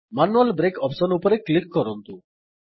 manual break options ଉପରେ click କରନ୍ତୁ